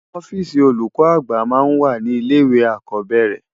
Òfisi ólúkò ágbà má n wá ni ilé iwé ákòbèrè